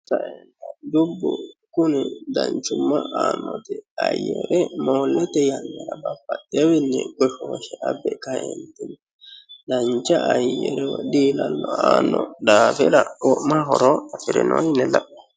dubbu kuni danchumma aannoti ayyere moollete yannara babbaxewoowiinni goshooshe abbe kaeentinni dancha ayyire woyi diilallo aanno daafira wo'ma horo afirino yine la'nanni.